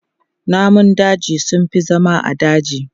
Namun daji sun fi zama a daji.